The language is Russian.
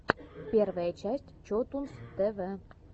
первая часть чотунз тэ вэ